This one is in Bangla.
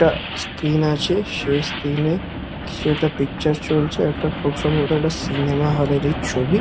একটা স্ক্রিন আছে সেই স্ক্রিন -এ কিছু একটা পিকচার চলছে খুব সম্ভবত সিনেমা হল -এরই ছবি।